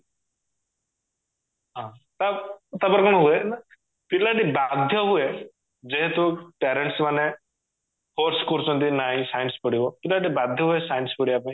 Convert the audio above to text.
ହଁ ତା ତାପରେ କଣ ହୁଏ ପିଲାଟି ବାଧ୍ୟ ହୁଏ ଯେହେତୁ parents ମାନେ force କରୁଛନ୍ତି ନାଇଁ science ପଢିବ ପିଲାଟି ବାଧ୍ୟ ହୁଏ science ପଢିବା ପାଇଁ